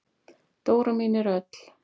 Dóra mín er öll.